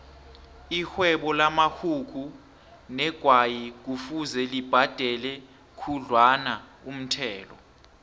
ixhwebo lamaxhugu negwayi kufuze libhadele khudlwanaumthelo